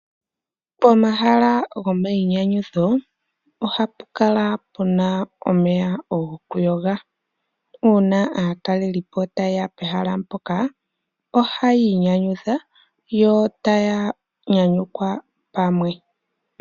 Pomahala gomayinyanyudho ohapu kala pu na omeya gokuyoga. Uuna aatalelipo taye ya pehala mpoka ohaya inyanyudha, yo taya nyanyukwa pamwe.